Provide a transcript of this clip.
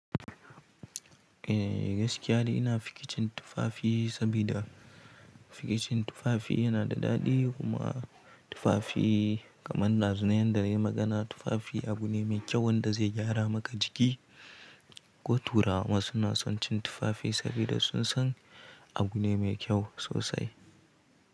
Eh gaskiya ne ina fikicin tufafi, sabida fikicin tufafi yana da daɗi kuma tufafi kamar dazun nan da yai magana. Tufafi abu ne mai kyau wanda zai gyara maka jiki ko turawa suna son cin tufafi sabida sun san abu ne mai kyau sosai.